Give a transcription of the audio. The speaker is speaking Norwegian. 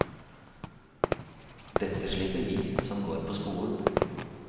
Dette slipper vi som går på skolen.